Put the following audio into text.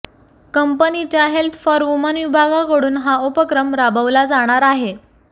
कंपनीच्या health for woman विभागाकडून हा उपक्रम राबवला जाणार आहे